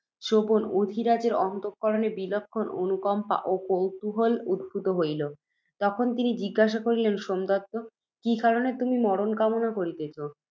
শ্রবণে, অধিরাজের অন্তঃকরণে বিলক্ষণ অনুকম্পা ও কৌতূহল উদ্ভূত হইল। তখন তিনি জিজ্ঞাসা করিলেন, সোমদত্ত! কি কারণে তুমি মরণ কামনা করিতেছ,